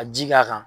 Ka ji k'a kan